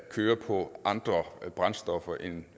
kører på andre brændstoffer end